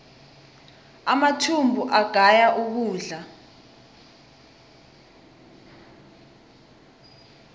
amathumbu agaya ukudla